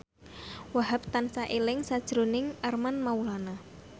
Wahhab tansah eling sakjroning Armand Maulana